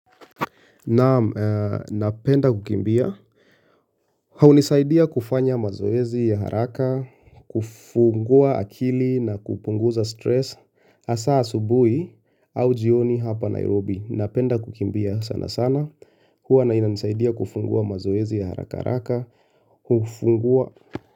Naam, napenda kukimbia Haunisaidia kufanya mazoezi ya haraka, kufungua akili na kupunguza stress Asa asubui au jioni hapa Nairobi, napenda kukimbia sana sana Huwa na inasaidia kufungua mazoezi ya haraka haraka, kufungua.